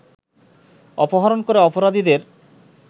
অপহরণ করে অপরাধীদের